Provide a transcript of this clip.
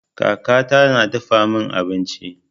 Kaka ta na dafa min abinci.